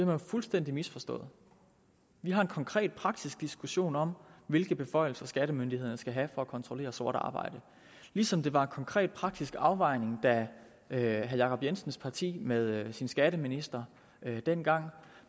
man fuldstændig misforstået vi har en konkret praktisk diskussion om hvilke beføjelser skattemyndighederne skal have for at kontrollere sort arbejde ligesom det var en konkret og praktisk afvejning da herre jacob jensens parti med dets skatteminister dengang